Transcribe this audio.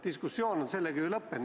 Diskussioon on sellega ju lõppenud.